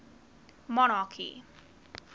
monarchy